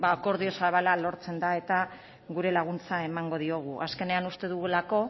akordio zabala lortzen da eta gure laguntza emango diogu azkenean uste dugulako